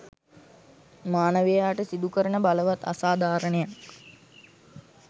මානවයාට සිදුකරන බලවත් අසාධාරණයක්